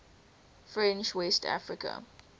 french west africa